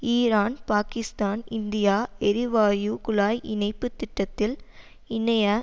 Iran Pakistan India எரிவாயு குழாய் இணைப்பு திட்டத்தில் இணைய